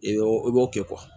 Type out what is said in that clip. I b'o i b'o kɛ